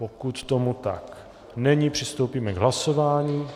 Jestli tomu tak není, přistoupíme k hlasování.